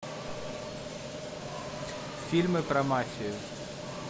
фильмы про мафию